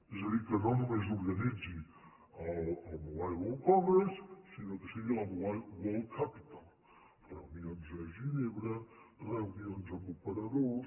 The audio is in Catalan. és a dir que no només organitzi el mobile world congress sinó que sigui la mobile world capital reunions a ginebra reunions amb operadors